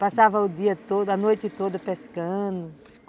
Passava o dia todo, a noite toda, pescando.